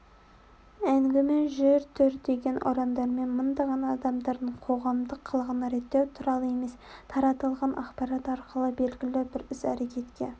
әңгіме жүр тұр деген ұрандармен мыңдаған адамдардың қоғамдық қылығын реттеу туралы емес таратылған ақпарат арқылы белгілі бір іс-әрекетке